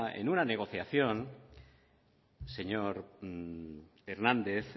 en una negociación señor hernández